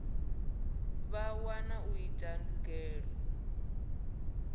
vha wa u ita ndugiselo